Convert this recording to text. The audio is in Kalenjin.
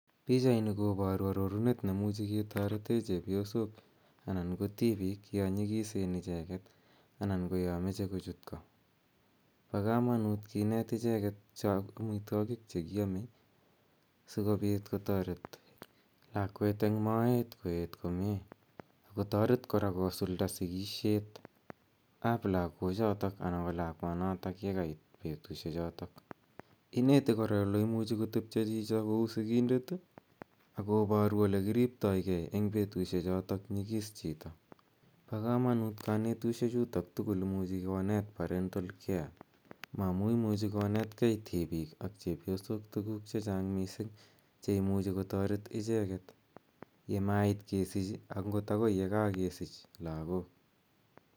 Pichaini koparu arorunet nemuchi ketarete chepyosok anan ko tipiik ya nyikisen icheget anan ko ya mache kochut ko. Po kamanut kineet icheget cha amitwogiik che ki ame si kopit kotaret lakwet eng' moet koet komye ako taret kora kosulda Sikishet ap lagochotok anan ko lagwanotok ye kait petushechotok. Ineti kora ole imuchi kotepta chito kou sikindet i, akoparu ole kiriptoi gei eng' petushechotok nyikis chito. Pa kamanut kanetushechutok tugul amu imuchi konet parental care ma amu imuchu konet gei , tipiik ak chepyosok, tuguuk che chang' missing' che imuchi kotaret icheget ye mait kesich i, angot akoi ye kakesich lagook.